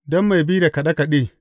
Don mai bi da kaɗe kaɗe.